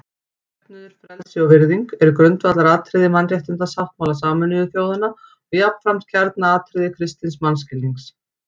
Jöfnuður, frelsi og virðing eru grundvallaratriði Mannréttindasáttmála Sameinuðu þjóðanna og jafnframt kjarnaatriði kristins mannskilnings.